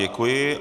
Děkuji.